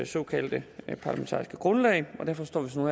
såkaldte parlamentariske grundlag og derfor står vi så nu